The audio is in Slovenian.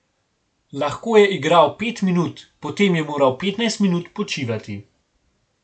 Lahko je igral pet minut, potem je moral petnajst minut počivati.